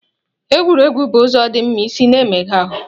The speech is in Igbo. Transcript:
Egwuregwu bụ ụzọ dị mma isi na-emega ahụ.